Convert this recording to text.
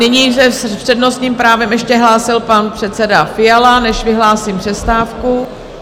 Nyní se s přednostním právem ještě hlásil pan předseda Fiala, než vyhlásím přestávku.